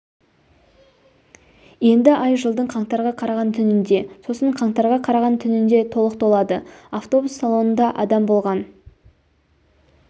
енді ай жылдың қаңтарға қараған түнінде сосын қаңтарға қараған түнінде толық толады автобус салонында адам болған